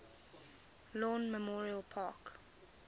lawn memorial park